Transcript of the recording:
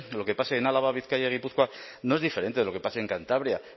lo que pase en álava bizkaia y gipuzkoa no es diferente de lo que pase en cantabria